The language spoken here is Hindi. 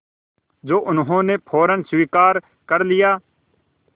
जो उन्होंने फ़ौरन स्वीकार कर लिया